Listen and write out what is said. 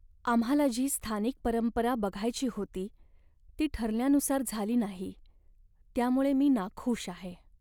आम्हाला जी स्थानिक परंपरा बघायची होती ती ठरल्यानुसार झाली नाही त्यामुळे मी नाखूष आहे.